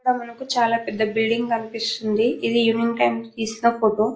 అక్కడ మనకి చాల పెద్ద బిల్డింగ్ కనిపిస్తుంది ఇది ఈవెనింగ్ టైం లో తీసిన ఫోటో .